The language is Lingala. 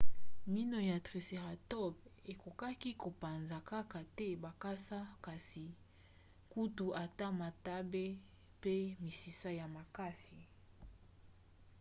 mino ya tricératops ekokaki kopanza kaka te bakasa kasi kutu ata matambe pe misisa ya makasi